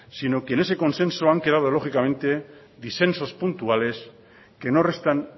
sino que en ese consenso han quedado lógicamente disensos puntuales que no restan